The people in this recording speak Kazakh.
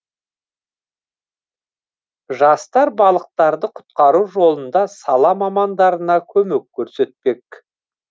жастар балықтарды құтқару жолында сала мамандарына көмек көрсетпек